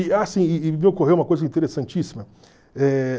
E, ah sim, e e me ocorreu uma coisa interessantíssima. Eh